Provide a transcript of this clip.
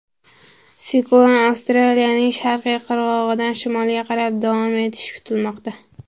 Siklon Avstraliyaning sharqiy qirg‘og‘idan shimolga qarab davom etishi kutilmoqda.